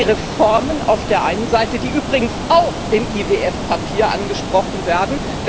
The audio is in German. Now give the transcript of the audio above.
Es sind die Reformen auf der einen Seite, die übrigens auch im IWF Papier angesprochen werden.